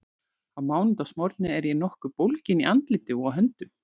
Á mánudagsmorgni er ég nokkuð bólgin í andliti og á höndum.